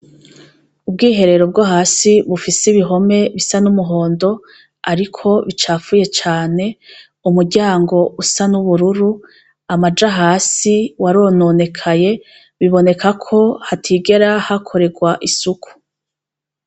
Ubwiherero bwo hasi bufise ibihome bisa n'umuhondo, ariko bicafuye cane umuryango usa n'ubururu amaja hasi warononekaye biboneka ko hatigera hakorerwa isuku.